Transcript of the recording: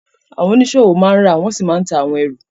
Àwọn oníṣòwò máa ń rà wọ́n sì máa ń ta àwọn ẹrù